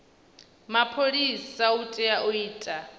mapholisa u tea u ita